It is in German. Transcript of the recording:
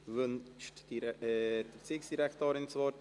Wünscht die Regierungsrätin das Wort?